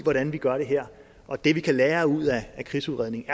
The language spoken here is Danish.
hvordan vi gør det her og det vi kan lære af krigsudredningens